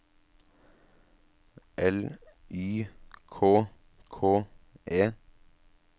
L Y K K E